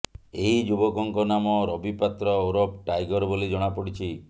ଏହି ଯୁବକଙ୍କ ନାମ ରବି ପାତ୍ର ଓରଫ୍ ଟାଇଗର ବୋଲି ଜଣାପଡ଼ିଛି